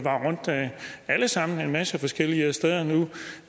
alle sammen var rundt en masse forskellige steder nu